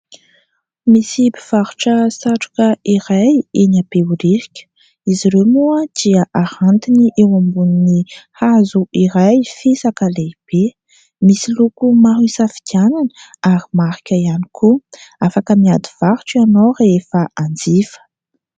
Misy mpivarotra satroka iray eny Behoririka. Izy ireo moa dia arantiny eo ambonin'ny hazo iray fisaka lehibe, misy loko maro isafidianana ary marika ihany koa. Afaka miady varotra ianao rehefa hanjifa.